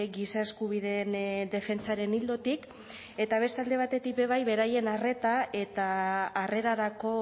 giza eskubideen defentsaren ildotik eta beste alde batetik be bai beraien arreta eta harrerarako